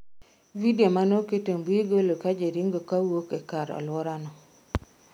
Vidio manoket e mbui golo ka ji ringo kowuok e kar aluora no